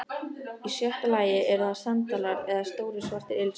Í sjötta lagi eru það sandalar eða stórir svartir ilskór.